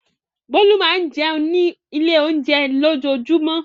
Bólú máa ń jẹun ní ilé-oúnjẹ lójoojúmọ́.